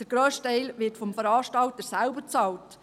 Der grösste Teil wird vom Veranstalter selbst bezahlt.